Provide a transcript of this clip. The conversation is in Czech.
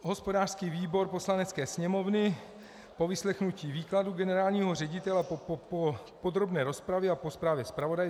Hospodářský výbor Poslanecké sněmovny po vyslechnutí výkladu generálního ředitele, po podrobné rozpravě a po zprávě zpravodaje